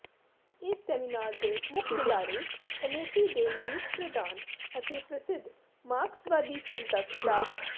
ਇਸ ਸੈਮੀਨਾਰ ਦੇ ਮੁੱਖ ਬੁਲਾਰੇ ਕਮੇਟੀ ਦੇ ਮੀਤ ਪ੍ਰਧਾਨ ਅਤੇ ਪ੍ਰਸਿੱਧ ਮਾਰਕਸਵਾਦੀ ਚਿੰਤਕ ਡਾ